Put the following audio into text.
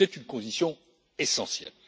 C'est une condition essentielle.